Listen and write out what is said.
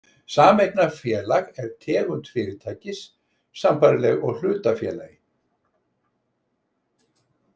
Sameignarfélag er tegund fyrirtækis, sambærileg hlutafélagi.